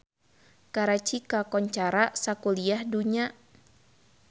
Karachi kakoncara sakuliah dunya